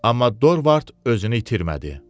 Amma Dorvard özünü itirmədi.